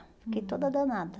Fiquei toda danada.